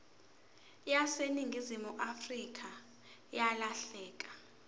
yaseningizimu afrika yalahleka